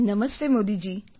Namaste Modiji